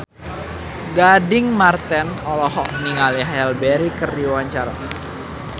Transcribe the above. Gading Marten olohok ningali Halle Berry keur diwawancara